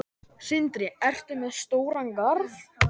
Sindri: Ertu með stóran garð?